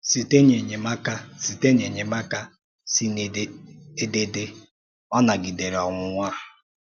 Sìté n’ényémàká Sìté n’ényémàká sì n’édèdé, ọ̀ Nàgìdèrè Ọ̀nwụ́nwa